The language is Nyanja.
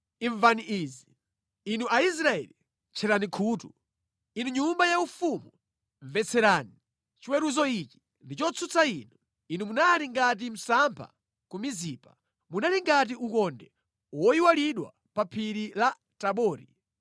“Ansembe inu, imvani izi! Inu Aisraeli, tcherani khutu! Inu nyumba yaufumu, mvetserani! Chiweruzo ichi ndi chotsutsa inu: Inu munali ngati msampha ku Mizipa, munali ngati ukonde woyalidwa pa phiri la Tabori.